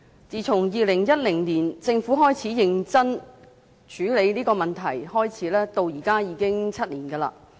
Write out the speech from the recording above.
自從2010年政府開始認真處理這個問題，到現在已經7年。